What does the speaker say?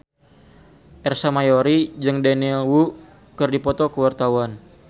Ersa Mayori jeung Daniel Wu keur dipoto ku wartawan